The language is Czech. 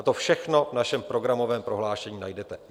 A to všechno v našem programovém prohlášení najdete.